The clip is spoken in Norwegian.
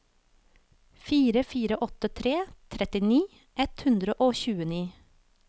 fire fire åtte tre trettini ett hundre og tjueni